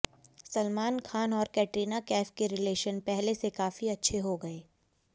सलमान खान और कैटरीना कैफ के रिलेशन पहले से काफी अच्छे हो गए